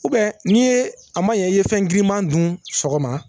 ni ye a ma ɲɛ i ye fɛn girinman dun sɔgɔma